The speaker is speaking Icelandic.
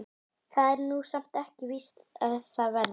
Það er nú samt ekkert víst að það verði.